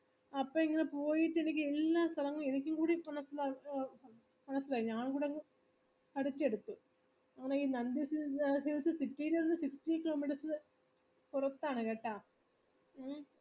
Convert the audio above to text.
അപ്പൊ ഇപ്പൊ പോയിട്ടങ് എനിക്ക് എല്ലാ സ്ഥലങ്ങളു പഠിച്ചെടുത്തു പിന്നെ ഈ nandi hills പുറത്താണ് കേട്ട